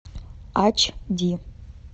ач ди